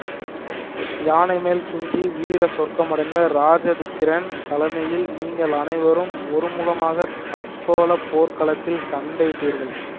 யானை மேல் துஞ்சி வீர சொர்க்கம் அடைந்த இராஜாதித்தரின் தலைமையில் நீங்கள் அனைவரும் ஒருமுகமாகத் தக்கோலப் போர்க்களத்தில் சண்டையிட்டீர்கள்